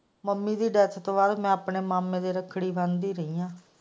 Mummy ਦੀ death ਤੂੰ ਬਾਅਦ ਮੈਂ ਆਪਣੇ ਮਾਮੇ ਦੇ ਰੱਖੜੀ ਬਣਦੀ ਰਹੀ ਹਾਂ।